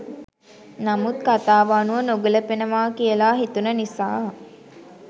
නමුත් කථාව අනුව නොගැළපෙනවා කියලා හිතුණ නිසා